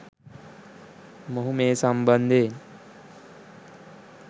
මොහු මේ සම්බන්ධයෙන්